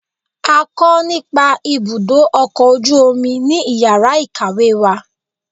a kọ nìpa ibudọ ọkọ ojú omí ní ìyára ikáwe wa.